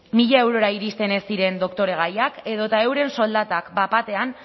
mila eurora iristen ez diren doktoregaiak edota euren soldatak bat batean